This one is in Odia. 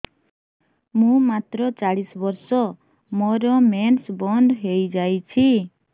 ମୁଁ ମାତ୍ର ଚାଳିଶ ବର୍ଷ ମୋର ମେନ୍ସ ବନ୍ଦ ହେଇଯାଇଛି